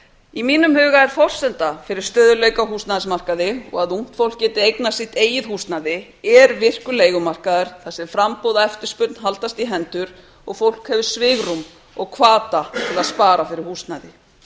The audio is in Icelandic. í mínum huga er forsenda fyrir stöðugleika á húsnæðismarkaði og að ungt fólk geti eignast sitt eigið húsnæði er virkur leigumarkaður þar sem framboð og eftirspurn haldast í hendur og fólk hefur svigrúm og hvata til að spara fyrir húsnæði